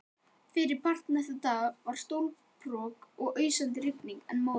Fyrripart næsta dags var stólparok og ausandi rigning, en móðir